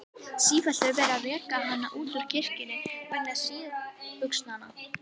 Sífellt er verið að reka hana út úr kirkjum vegna síðbuxnanna.